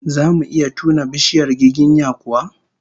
Zamu iya tuna bishiyar giginya kuwa?